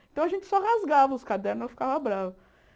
Então a gente só rasgava os cadernos, ela ficava brava.